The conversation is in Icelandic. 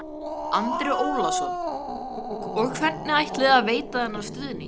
Andri Ólafsson: Og hvernig ætlið þið að veita þennan stuðning?